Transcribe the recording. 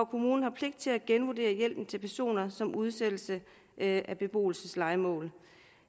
kommunen har pligt til at genvurdere hjælpen til personer som udsættes af beboelseslejemål